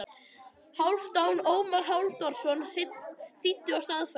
Hálfdan Ómar Hálfdanarson þýddi og staðfærði.